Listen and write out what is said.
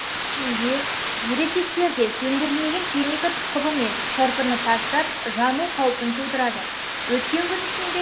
мәнінде ересектер де сөндірілмеген темекі тұқылы мен шырпыны тастап жану қаупін тудырады өткен күн ішінде